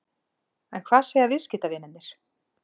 En hvað segja viðskiptavinirnir?